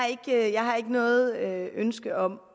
jeg har ikke noget ønske om